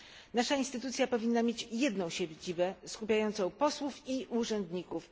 Nasza instytucja powinna mieć jedną siedzibę skupiającą posłów i urzędników.